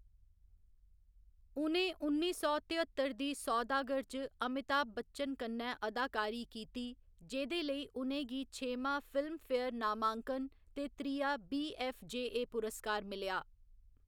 उ'नें उन्नी सौ तेअत्तर दी सौदागर च अमिताभ बच्चन कन्नै अदाकारी कीती, जेह्‌दे लेई उ'नें गी छेमां फिल्मफेयर नामांकन ते त्रिया बीऐफ्फजेए पुरस्कार मिलेआ।